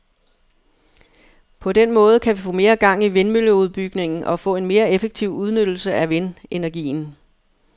På den måde kan vi få mere gang i vindmølleudbygningen og få en mere effektiv udnyttelse af vindenergien.